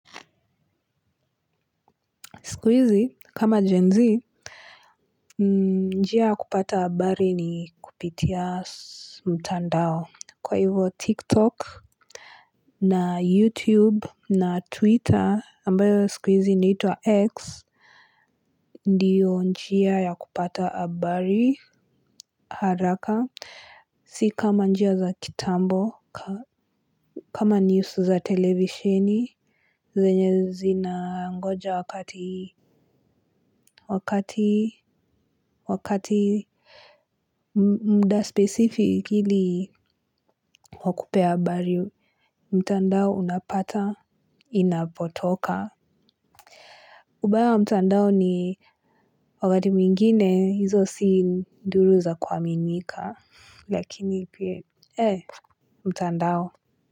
Siku hizi kama jenzi njia ya kupata habari ni kupitia mtandao kwa hivo tiktok na youtube na twitter ambayo siku hizi inaitwa x. Ndiyo njiya ya kupata habari haraka si kama njia za kitambo kama news za televisheni zenye zina ngoja wakati wakati wakati. Muda specific ili wakupee habari mtandao unapata inapotoka. Ubaya wa mtandao ni wakati mwingine hizo si nduru za kwaminika. Lakini pia mtandao.